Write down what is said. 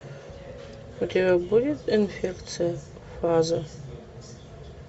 у тебя будет инфекция фаза